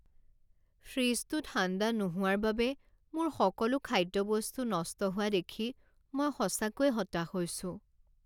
ফ্ৰিজটো ঠাণ্ডা নোহোৱাৰ বাবে মোৰ সকলো খাদ্যবস্তু নষ্ট হোৱা দেখি মই সঁচাকৈয়ে হতাশ হৈছোঁ।